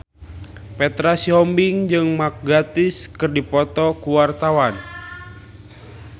Petra Sihombing jeung Mark Gatiss keur dipoto ku wartawan